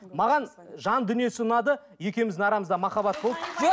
маған жан дүниесі ұнады екеуміздің арамызда махаббат болды